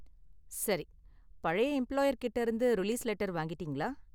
சரி, பழைய எம்பிளாயர் கிட்டே இருந்து ரிலீஸ் லெட்டர் வாங்கிட்டீங்களா?